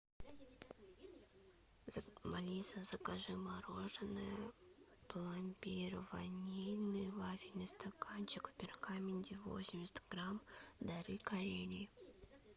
алиса закажи мороженое пломбир ванильный вафельный стаканчик в пергаменте восемьдесят грамм дары карелии